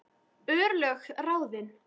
Örlög ráðin